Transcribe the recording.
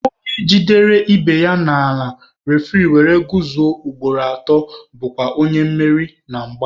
Onye jidere ibe ya n'ala refuri ewere kuzuo ugboro atọ bụkwa onye meriri na mgba.